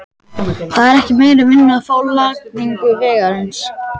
Það er ekki meiri vinnu að fá við lagningu vegarins.